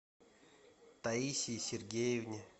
таисии сергеевне